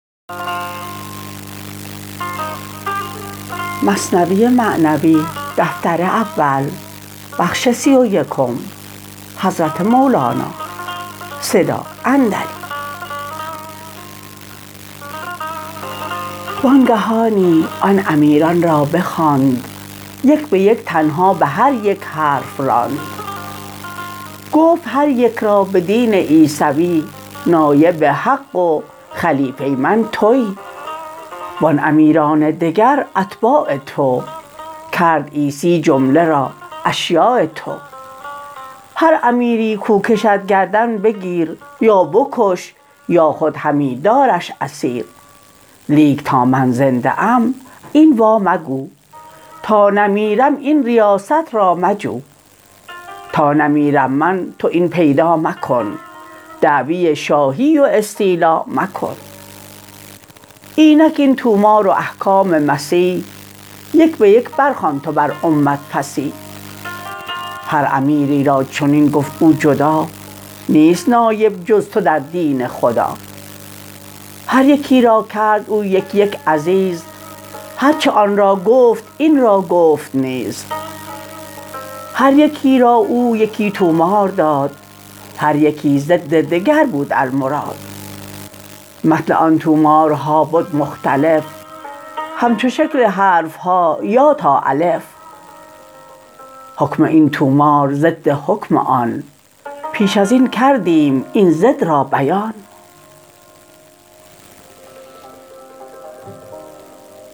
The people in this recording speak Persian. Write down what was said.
وانگهانی آن امیران را بخواند یک بیک تنها بهر یک حرف راند گفت هر یک را بدین عیسوی نایب حق و خلیفه من توی وان امیران دگر اتباع تو کرد عیسی جمله را اشیاع تو هر امیری کو کشد گردن بگیر یا بکش یا خود همی دارش اسیر لیک تا من زنده ام این وا مگو تا نمیرم این ریاست را مجو تا نمیرم من تو این پیدا مکن دعوی شاهی و استیلا مکن اینک این طومار و احکام مسیح یک بیک بر خوان تو بر امت فصیح هر امیری را چنین گفت او جدا نیست نایب جز تو در دین خدا هر یکی را کرد او یک یک عزیز هرچه آن را گفت این را گفت نیز هر یکی را او یکی طومار داد هر یکی ضد دگر بود المراد متن آن طومارها بد مختلف همچو شکل حرفها یا تا الف حکم این طومار ضد حکم آن پیش ازین کردیم این ضد را بیان